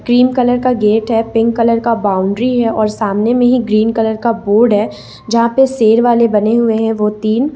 pink colour का gate है pink colour का बाउंड्री है और सामने में ही ग्रीन कलर का बोर्ड है जहां पे शेर वाले बने हुए हैं वो तीन--